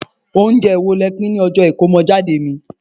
ounjẹ wo ni e pin ní ọjọ Ikomojade mi